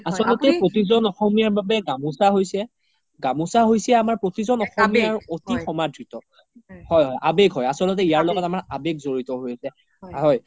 প্ৰতিজ্ন অসমীয়াৰ বাবে গামুচা হৈছে প্ৰতিজ্ন অসমীয়াৰ এটি সমাধ্ৰিত হয় হয় আবেগ হয় আচলতে ইয়াৰ লগত আমাৰ আবেগ জৰিত হৈ আছে